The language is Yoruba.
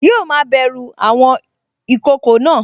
Yíò ma bẹ̀ru àwọn ìkokò náà